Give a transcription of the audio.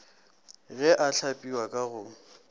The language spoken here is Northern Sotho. ge a hlagipwa ka go